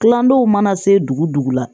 Kilandenw mana se dugu dugu la